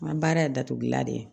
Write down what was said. N ka baara ye datugulan de ye